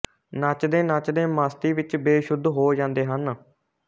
ਨੱਚਦੇ ਨੱਚਦੇ ਮਸਤੀ ਵਿੱਚ ਬੇਸੁੱਧ ਹੋ ਜਾਂਦੇ ਹਨ